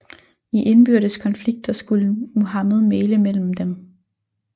I indbyrdes konflikter skulle Muhammed mægle imellem dem